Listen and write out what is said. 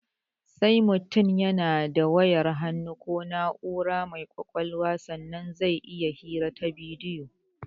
Sai mutum yana da wayar hannu ko na'ura mai ƙwaƙalwa sannan zai iya hira ta bidiyo